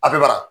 A bɛ bara